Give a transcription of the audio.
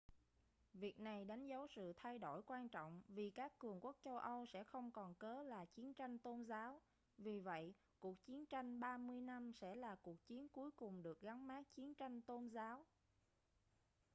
việc này đánh dấu sự thay đổi quan trọng vì các cường quốc châu âu sẽ không còn cớ là chiến tranh tôn giáo vì vậy cuộc chiến tranh ba mươi năm sẽ là cuộc chiến cuối cùng được gắn mác chiến tranh tôn giáo